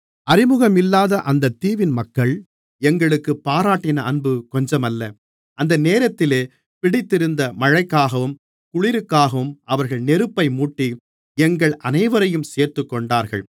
அறிமுகமில்லாத அந்தத் தீவின் மக்கள் எங்களுக்குப் பாராட்டின அன்பு கொஞ்சமல்ல அந்த நேரத்திலே பிடித்திருந்த மழைக்காகவும் குளிருக்காகவும் அவர்கள் நெருப்பை மூட்டி எங்கள் அனைவரையும் சேர்த்துக்கொண்டார்கள்